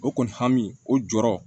O kɔni hami o jɔrɔ